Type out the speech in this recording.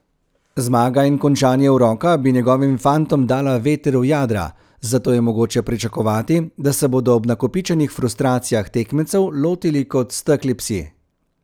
Zmaga in končanje uroka bi njegovim fantom dala veter v jadra, zato je mogoče pričakovati, da se bodo ob nakopičenih frustracijah tekmecev lotili kot stekli psi ...